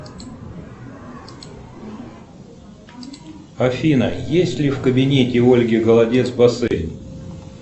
афина есть ли в кабинете ольги голодец бассейн